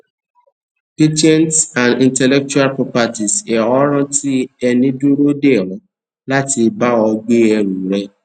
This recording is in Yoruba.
patents and intellectual properties ọ ránti ẹni dúró dé ọ láti bá ọ gbé ẹrù rẹ